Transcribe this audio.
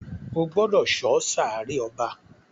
o gbódò so sáré ọba!